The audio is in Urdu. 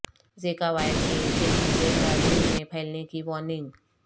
زیکا وائر کے تیزی سے برازیل میں پھیلنے کی وارننگ